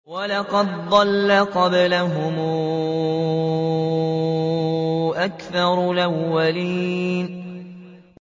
وَلَقَدْ ضَلَّ قَبْلَهُمْ أَكْثَرُ الْأَوَّلِينَ